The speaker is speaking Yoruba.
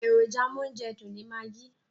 Èròjà amóúnjẹdùn ni magi.